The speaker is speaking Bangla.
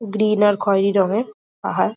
গ্রীন আর খয়রি রঙের পাহার।